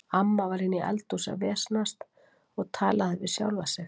Amma var inni í eldhúsi að vesenast og talaði við sjálfa sig.